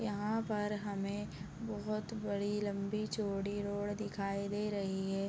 यहाँ पर हमें बहुत बड़ी लम्बी चौड़ी रोड दिखाई दे रही है।